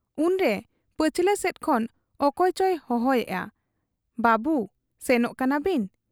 ᱩᱱᱨᱮ ᱯᱟᱹᱪᱷᱞᱟᱹ ᱥᱮᱫ ᱠᱷᱚᱱ ᱚᱠᱚᱭ ᱪᱚᱭ ᱦᱚᱦᱚᱭᱮᱜ ᱟᱼᱼᱵᱟᱹᱵᱩ ! ᱥᱮᱱᱚᱜ ᱠᱟᱱᱟ ᱵᱤᱱ ?